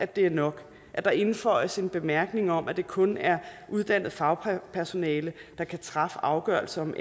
det er nok at der indføjes en bemærkning om at det kun er uddannet fagpersonale der kan træffe afgørelse om